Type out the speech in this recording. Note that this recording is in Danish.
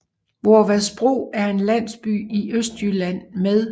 Voervadsbro er en landsby i Østjylland med